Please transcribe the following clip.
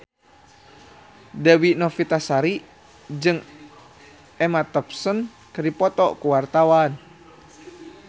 Dewi Novitasari jeung Emma Thompson keur dipoto ku wartawan